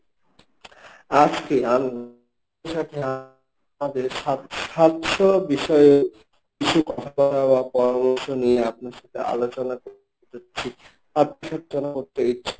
আজকে আমি আমাদের সাত স্বাস্থ্য বিষয়ে কিছু কথা বলার বা পরামর্শ নিয়ে আপনার সাথে আলোচনা করতে ইচ্ছুক